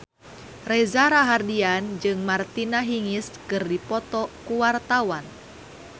Reza Rahardian jeung Martina Hingis keur dipoto ku wartawan